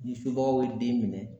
Ni subagaw ye den minɛ